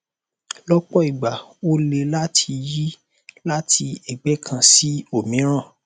lọpọ ìgbà ó le láti yí láti ẹgbẹ kan sí òmíràn